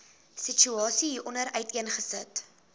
situasie hieronder uiteengesit